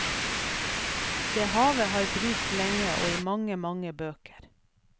Det havet har brust lenge og i mange, mange bøker.